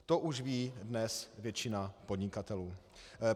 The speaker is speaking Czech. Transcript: To už ví dnes většina podnikatelů.